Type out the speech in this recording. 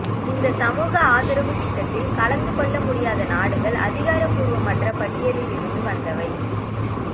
இந்த சமூக ஆதரவு திட்டத்தில் கலந்து கொள்ள முடியாத நாடுகள் அதிகார பூர்வமற்ற பட்டியலில் இருந்து வந்தவை